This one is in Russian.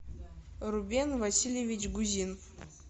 рубен васильевич гузин